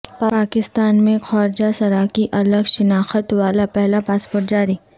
پاکستان میں خواجہ سرا کی الگ شناخت والا پہلا پاسپورٹ جاری